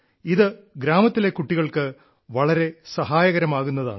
ഇത് ഗ്രാമത്തിലെ കുട്ടികൾക്ക് വളരെ സഹായകരമാകുന്നതാണ്